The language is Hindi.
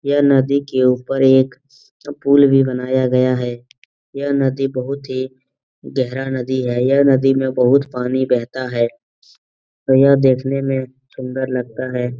यह नदी के ऊपर एक पूल भी बनाया गया है। यह नदी बहुत ही गहरा नदी है। यह नदी में बहुत पानी बहता है। यह देखने में सुंदर लगता है।